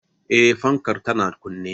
Eh, fankar tana kunne